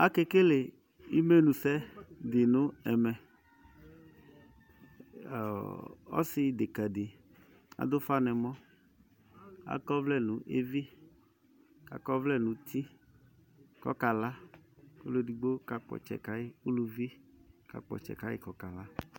Aka ekele imenusɛ di nu ɛmɛ, ɔsideka di adu ufa n'ɛmɔ akɔ ɔvlɛ nu evi, k'akɔ ɔvlɛ nu uti k'ɔka la, k'ɔlu edigbo ka kpɔ ɔtsɛ ka yi uluvi ka kpɔ ɔtsɛ ka yi k'aka la